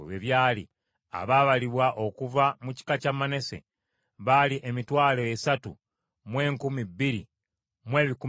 Abaabalibwa okuva mu kika kya Manase baali emitwalo esatu mu enkumi bbiri mu ebikumi bibiri (32,200).